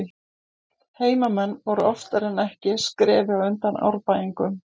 Heimamenn voru oftar en ekki skrefi á undan Árbæingum.